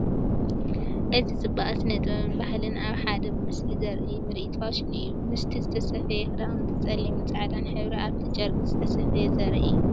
እዚ ጽባቐ ስነ-ጥበብን ባህልን ኣብ ሓደ ምስሊ ዘርኢ ምርኢት ፋሽን እዩ። ምስቲ ዝተሰፍየ ክዳውንቲ፡ ጸሊምን ጻዕዳን ሕብሪ ኣብቲ ጨርቂ ዝተሰፍየ ዘርኢ እዩ።